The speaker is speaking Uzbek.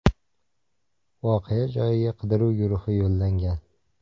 Voqea joyiga qidiruv guruhi yo‘llangan.